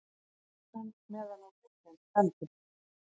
Reyklosun meðan á viðgerð stendur